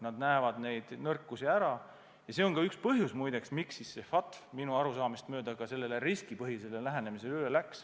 Nad näevad need nõrkused ära ja see on muide üks põhjus, miks FATF minu arusaamist mööda riskipõhisele lähenemisele üle läks.